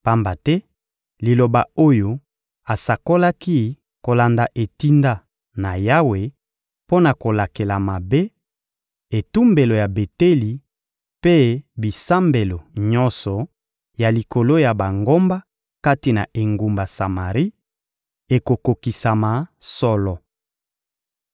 Pamba te liloba oyo asakolaki kolanda etinda na Yawe mpo na kolakela mabe, etumbelo ya Beteli mpe bisambelo nyonso ya likolo ya bangomba kati na engumba Samari, ekokokisama solo.